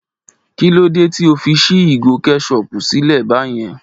Kí ló dé tí o fi ṣí ìgò kẹ́sọpù sílẹ̀ báyen?